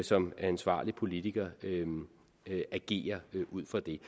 som ansvarlig politiker vil agere ud fra det